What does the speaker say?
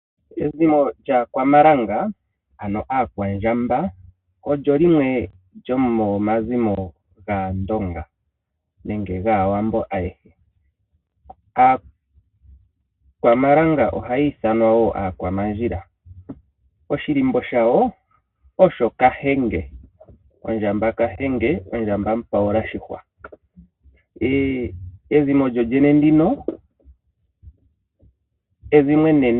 Ezimo lyaakwamalanga ano aakwandjamba olyo limwe lyomomazimo gaandonga nenge gaawambo ayehe. Aakwamalanga oha ya ithanwa woo aakwamandjila .Oshilimbo shayo osho kahenge ano ndjamba mupayula shihwa . Ezimo lyawo olyo ezimo enene.